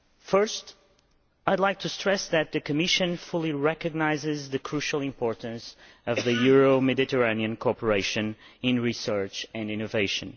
Firstly, I would like to stress that the Commission fully recognises the crucial importance of Euro Mediterranean cooperation in research and innovation.